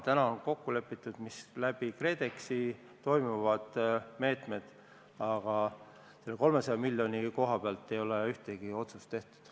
Täna on kokku lepitud läbi KredExi võetavates meetmetes, aga selle 300 miljoni kohta ei ole tehtud ühtegi otsust.